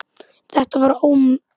Þetta var Ómi